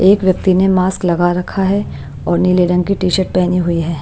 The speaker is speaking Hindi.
एक व्यक्ति ने मास्क लगा रखा है और नीले रंग की टी-शर्ट हुई है।